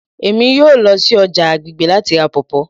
Emi yoo lọ si ọja agbegbe lati ra pawpaw